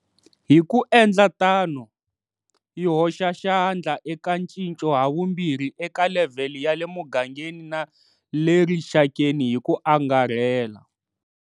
Hi ku endla tano, yi hoxa xandla eka ncinco havumbirhi eka levhele ya le mugangeni na le rixakeni hi ku angarhela.